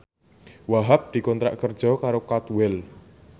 Wahhab dikontrak kerja karo Cadwell